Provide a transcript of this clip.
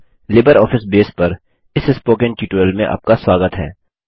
LibreOffice Base पर इस spoken tutorial में आपका स्वागत है